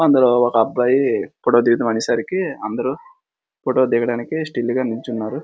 అందులో ఒక అబ్బాయి ఫోటో దిగుదాం అనేసరికి అందరూ ఫోటో దిగడానికి స్టిల్ గా నిలుచున్నారు.